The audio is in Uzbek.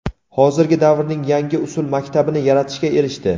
hozirgi davrning yangi usul maktabini yaratishga erishdi.